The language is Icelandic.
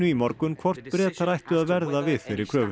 í morgun hvort Bretar ættu að verða við þeirri kröfu